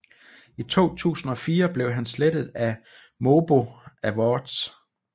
I 2004 blev han slettet af MOBO Awards